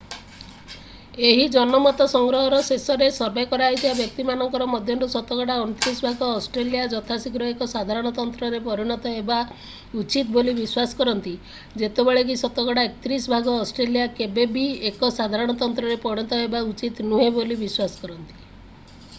ଏହି ଜନମତ ସଂଗ୍ରହର ଶେଷରେ ସର୍ଭେ କରାଯାଇଥିବା ବ୍ୟକ୍ତିମାନଙ୍କ ମଧ୍ୟରୁ ଶତକଡ଼ା 29 ଭାଗ ଅଷ୍ଟ୍ରେଲିଆ ଯଥାଶୀଘ୍ର ଏକ ସାଧାରଣତନ୍ତ୍ରରେ ପରିଣତ ହେବା ଉଚିତ ବୋଲି ବିଶ୍ୱାସ କରନ୍ତି ଯେତେବେଳେ କି ଶତକଡ଼ା 31 ଭାଗ ଅଷ୍ଟ୍ରେଲିଆ କେବେ ବି ଏକ ସାଧାରଣତନ୍ତ୍ରରେ ପରିଣତ ହେବା ଉଚିତ ନୁହେଁ ବୋଲି ବିଶ୍ୱାସ କରନ୍ତି